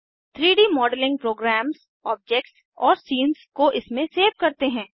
3डी modelling programs objects और scenes को इसमें सेव करते हैं